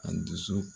A dusu